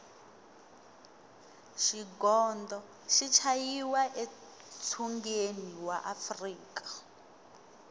xigondo xi chayiwa e tshungeni wa afrika